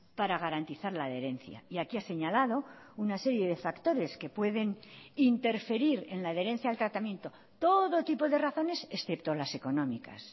para garantizar la adherencia y aquí ha señalado una serie de factores que pueden interferir en la adherencia al tratamiento todo tipo de razones excepto las económicas